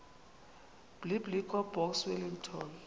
biblecor box wellington